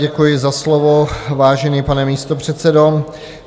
Děkuji za slovo, vážený pane místopředsedo.